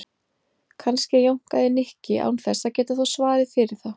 Kannski jánkaði Nikki án þess að geta þó svarið fyrir það.